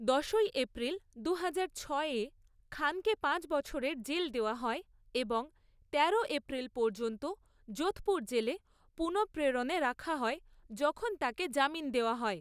দশই এপ্রিল দুহাজার ছয়ে, খানকে পাঁচ বছরের জেল দেওয়া হয় এবং তেরো এপ্রিল পর্যন্ত যোধপুর জেলে পুনঃপ্রেরণে রাখা হয় যখন তাঁকে জামিন দেওয়া হয়।